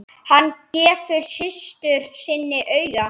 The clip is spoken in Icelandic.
Hann gefur systur sinni auga.